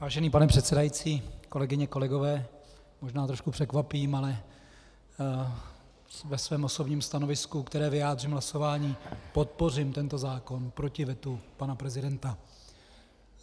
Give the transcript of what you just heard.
Vážený pane předsedající, kolegyně, kolegové, možná trochu překvapím, ale ve svém osobním stanovisku, které vyjádřím hlasováním, podpořím tento zákon proti vetu pana prezidenta.